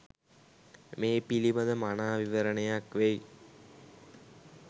මේ පිළිබඳ මනා විවරණයක් වෙයි.